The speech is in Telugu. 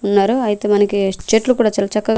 ఉన్నారు అయితే మనకి చెట్లు కూడా చాలా చక్కగా.